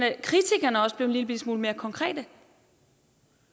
at kritikerne også blev en lillebitte smule mere konkrete